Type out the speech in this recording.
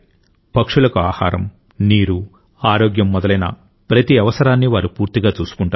పక్షులకు ఆహారం నీరు ఆరోగ్యం మొదలైన ప్రతి అవసరాన్ని వారు పూర్తిగా చూసుకుంటారు